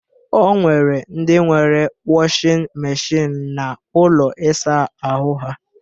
O nwere ndị nwere wọshịn meshịn n'ụlọ ịsa ahụ ha